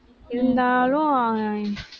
இருந்தாலும்